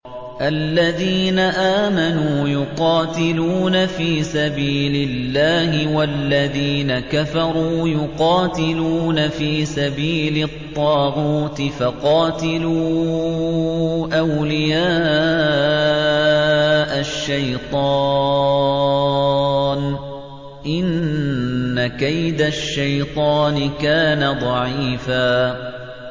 الَّذِينَ آمَنُوا يُقَاتِلُونَ فِي سَبِيلِ اللَّهِ ۖ وَالَّذِينَ كَفَرُوا يُقَاتِلُونَ فِي سَبِيلِ الطَّاغُوتِ فَقَاتِلُوا أَوْلِيَاءَ الشَّيْطَانِ ۖ إِنَّ كَيْدَ الشَّيْطَانِ كَانَ ضَعِيفًا